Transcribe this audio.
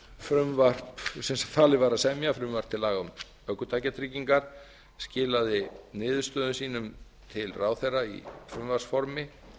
nefndin sem falið var að semja frumvarp til laga um ökutækjatryggingar skilaði niðurstöðum sínum til ráðherra í frumvarpsformi